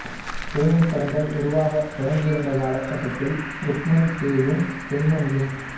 ஊமைப் படங்கள் உருவாகத் தொடங்கியிருந்த காலகட்டத்தில் ருக்மணி பேயும் பெண்மணியும்